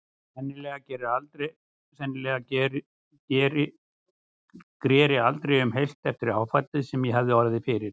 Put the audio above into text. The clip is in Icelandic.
Sennilega greri aldrei um heilt eftir áfallið sem ég hafði orðið fyrir.